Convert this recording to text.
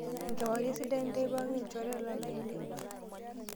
Enkewarie sidai ntae pookin ilchoreta lainei.